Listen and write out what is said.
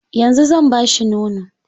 Yanzu zan ba shi nono.